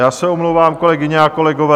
Já se omlouvám, kolegyně a kolegové.